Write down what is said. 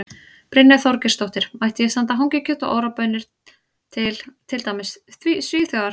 Brynja Þorgeirsdóttir: Mætti ég senda hangikjöt og Ora baunir til, til dæmis Svíþjóðar?